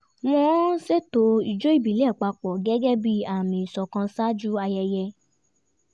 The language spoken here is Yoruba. wọ́n ṣètò ijó ìbílẹ̀ papọ̀ gẹ́gẹ́ bí àmì ìṣọ̀kan ṣáájú ayẹyẹ